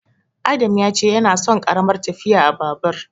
Adam ya ce yana son ƙaramar tafiya a Babur.